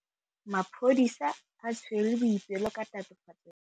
Maphodisa a tshwere Boipelo ka tatofatsô ya polaô.